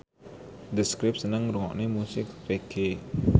The Script seneng ngrungokne musik reggae